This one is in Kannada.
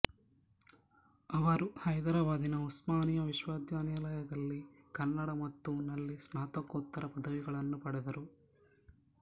ಅವರು ಹೈದರಾಬಾದಿನ ಉಸ್ಮಾನಿಯಾ ವಿಶ್ವವಿದ್ಯಾಲಯದಲ್ಲಿ ಕನ್ನಡ ಮತ್ತು ನಲ್ಲಿ ಸ್ನಾತಕೋತ್ತರ ಪದವಿಗಳನ್ನು ಪಡೆದರು